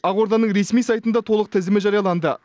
ақорданың ресми сайтында толық тізімі жарияланды